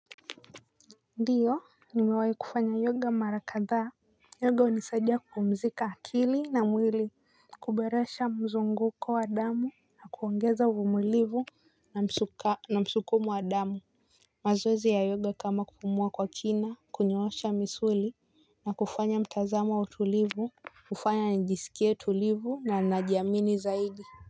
Ndiyo nimewahi kufanya yoga mara kadhaa. Yoga hunisadia kupumzika akili na mwili kuboresha mzunguko wa damu na kuongeza uvumilivu na msukumo wa damu mazoezi ya yoga kama kupumua kwa kina kunyoosha misuli na kufanya mtazamo wa utulivu hufanya nijisikie tulivu na najiamini zaidi.